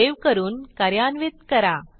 save करून कार्यान्वित करा